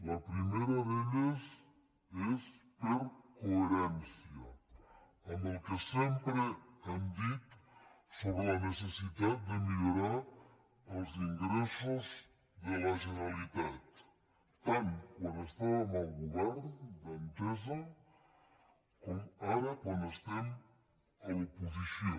la primera d’elles és per coherència amb el que sempre hem dit sobre la necessitat de millorar els ingressos de la generalitat tant quan estàvem al govern d’entesa com ara quan estem a l’oposició